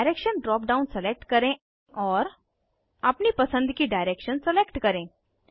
direction drop down select करें और अपनी पसंद की डायरेक्शन सलेक्ट करें